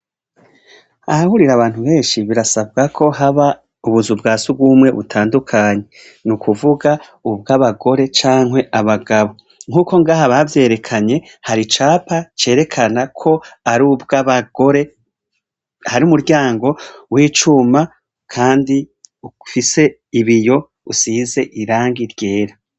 Ahahurira bantu benshi ,birasabwako haba ubuzu bwa sugumwe butandukanye .Nukuvuga ,ubw'abagore canke abagabo nkuko ngaha bavyerekanye, haricapa cerekana ko arubw'abagore ,harumuryango w'icuma, kandi, ufise ibiyo usize irangi ryera.